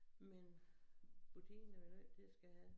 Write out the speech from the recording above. Men butikken er vel nødt til at skal have